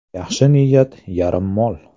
Yaxshi niyat yarim mol!